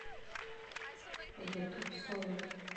ютуб сола